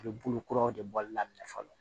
A bɛ bolo kuraw de bɔli daminɛ fɔlɔ